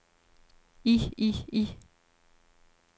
i i i